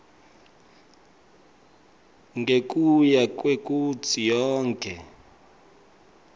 ngekuya kwekutsi yonkhe